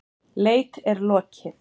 Leit er lokið.